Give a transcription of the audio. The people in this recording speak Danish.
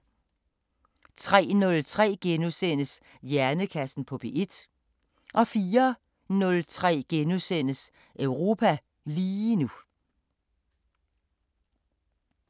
03:03: Hjernekassen på P1 * 04:03: Europa lige nu *